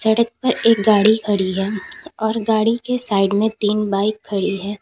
सड़क पर एक गाड़ी खड़ी है और गाड़ी के साइड में तीन बाइक खड़ी है।